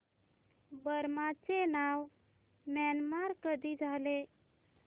Burma चे नाव Myanmar कधी झाले